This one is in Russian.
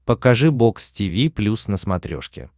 покажи бокс тиви плюс на смотрешке